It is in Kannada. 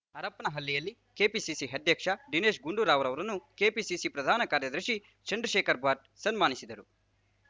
ಹರಪನಹಳ್ಳಿಯಲ್ಲಿ ಕೆಪಿಸಿಸಿ ಅಧ್ಯಕ್ಷ ದಿನೇಶ್ ಗುಂಡೂರಾವ್‌ರನ್ನು ಕೆಪಿಸಿಸಿ ಪ್ರಧಾನಕಾರ್ಯದರ್ಶಿ ಚಂದ್ರಶೇಖರಭಟ್‌ ಸನ್ಮಾನಿಸಿದರು